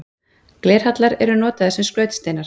Glerhallar eru notaðir sem skrautsteinar.